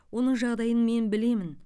оның жағдайын мен білемін